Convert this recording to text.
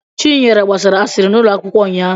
Chinyere gbasara asịrị n'ụlọ akwụkwọ ụnyahụ.